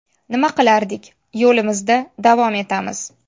Nima qilardik, yo‘limizda davom etamiz.